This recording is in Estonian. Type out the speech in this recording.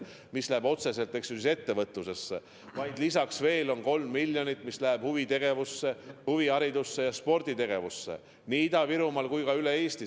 See raha läheb otseselt ettevõtlusesse, aga lisaks läheb veel 3 miljonit huvitegevusse, huviharidusse ja sporditegevusse nii Ida-Virumaal kui ka üle Eesti.